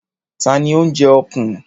Ta ni ó ń jẹ ọ̀kùn?